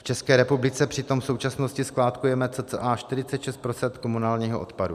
V České republice přitom v současnosti skládkujeme cca 46 % komunálního odpadu.